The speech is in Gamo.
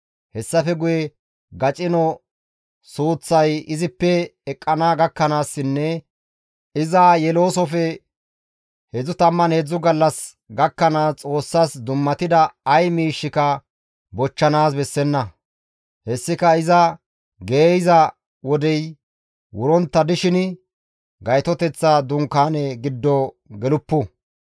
Hessafe guye gacino suuththay izippe eqqana gakkanaassinne iza yeloosofe 33 gallas gakkanaas Xoossas dummatida ay miishshika bochchanaas bessenna; hessika iza geeyza wodey wurontta dishin Gaytoteththa Dunkaane giddo geluppu.